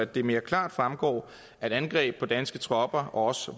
det mere klart fremgår at angreb på danske tropper og også